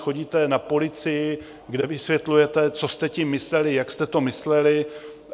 Chodíte na policii, kde vysvětlujete, co jste tím mysleli, jak jste to mysleli.